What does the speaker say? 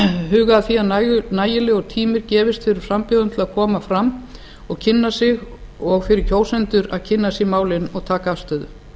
huga að því að nægilegur tími gefist fyrir frambjóðendur til að koma fram og kynna sig og fyrir kjósendur að kynna sér málin og taka afstöðu